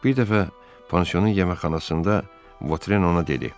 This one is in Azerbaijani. Bir dəfə pansiyonun yeməkxanasında Votren ona dedi: